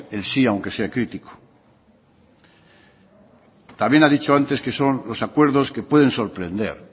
el sí aunque sea crítico también ha dicho antes que son los acuerdos que pueden sorprende